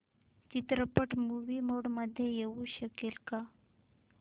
चित्रपट movie mode मध्ये येऊ शकेल का